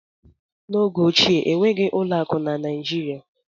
N'oge ochie enweghị ụlọ akụ na Naijirịa.